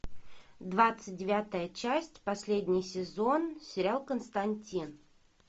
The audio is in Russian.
двадцать девятая часть последний сезон сериал константин